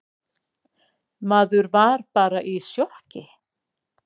Maður var bara í sjokki.